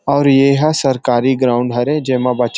और ये ह सरकारी ग्राउंड हरे जे म बच्च --